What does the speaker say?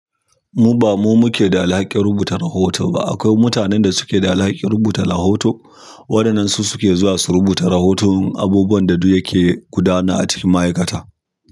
Mu ba mu muke da alhakin rubuta rahoto ba. Akwai mutanen da suke da alhakin rubuta rahoto, waɗannan su suke zuwa su rubuta rahoton abubuwan da duk yake gudana a cikin ma'aikata.